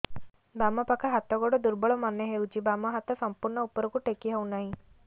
ବାମ ପାଖ ହାତ ଗୋଡ ଦୁର୍ବଳ ମନେ ହଉଛି ବାମ ହାତ ସମ୍ପୂର୍ଣ ଉପରକୁ ଟେକି ହଉ ନାହିଁ